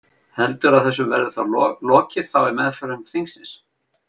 Heldurðu að þessu verði lokið þá í meðförum þingsins?